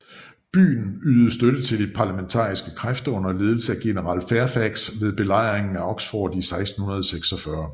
Byen ydede støtte til de parlamentaristiske kræfter under ledelse af general Fairfax ved Belejringen af Oxford i 1646